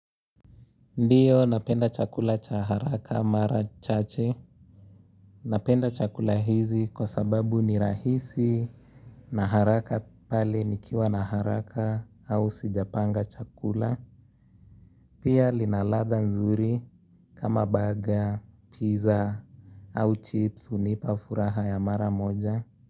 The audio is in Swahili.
Ndiyo napenda chakula cha haraka mara chache napenda chakula hizi kwa sababu ni rahisi na haraka pale nikiwa na haraka au sijapanga chakula pia linaladha nzuri kama baga, pizza au chips unipa furaha ya mara moja.